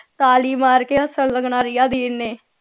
ਤਾਲੀ ਮਾਰ ਕੇ ਹੱਸਣ ਲਗਣਾ ਰਿਆ ਦੀਦੀ ਨੇ